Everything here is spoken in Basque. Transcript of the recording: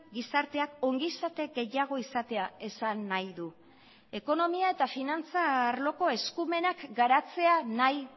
gizarteak ongizate gehiago izatea esan nahi du ekonomia eta finantza arloko eskumenak garatzea nahi